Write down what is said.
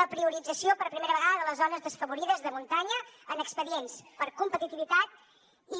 la priorització per primera vegada de les zones desafavorides de muntanya en expedients per competitivitat